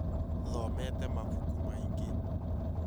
Thomete mabuku maingĩ